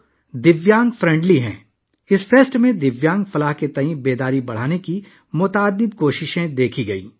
دیویانگوں کی فلاح و بہبود کے بارے میں بیداری پیدا کرنے کے لیے اس فیسٹیول میں بہت سی کوششیں دیکھنے میں آئیں